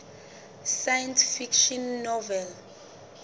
science fiction novel